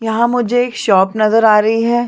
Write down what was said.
यहाँ मुझे एक शॉप नज़र आ रही है।